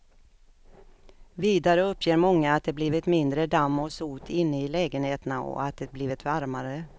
Vidare uppger många att det blivit mindre damm och sot inne i lägenheterna och att det blivit varmare.